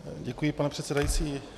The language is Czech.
Děkuji, pane předsedající.